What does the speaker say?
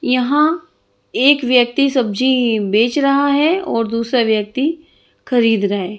यहाँ एक व्यक्ति सब्जी बेच रहा है और दूसरा व्यक्ति खरीद रहा है।